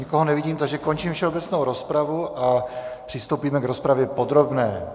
Nikoho nevidím, takže končím všeobecnou rozpravu a přistoupíme k rozpravě podrobné.